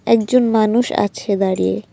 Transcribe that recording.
একজন মানুষ আছে দাঁড়িয়ে।